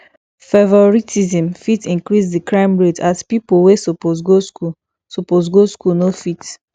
favouritism fit increase di crime rate as pipo wey suppose go school suppose go school no fit